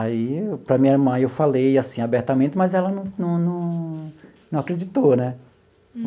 Aí, para a minha irmã, eu falei assim, abertamente, mas ela não não não acreditou, né?